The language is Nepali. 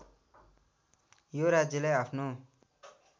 यो राज्यलाई आफ्नो